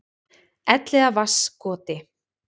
Elliðavatnskoti